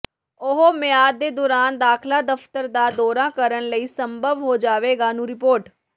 ਉਹ ਮਿਆਦ ਦੇ ਦੌਰਾਨ ਦਾਖ਼ਲਾ ਦਫਤਰ ਦਾ ਦੌਰਾ ਕਰਨ ਲਈ ਸੰਭਵ ਹੋ ਜਾਵੇਗਾ ਨੂੰ ਰਿਪੋਰਟ